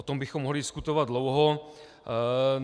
O tom bychom mohli diskutovat dlouho.